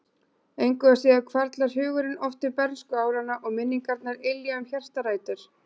Engu að síður hvarflar hugurinn oft til bernskuáranna og minningarnar ylja um hjartarætur.